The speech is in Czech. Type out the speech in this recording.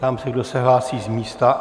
Ptám se, kdo se hlásí z místa?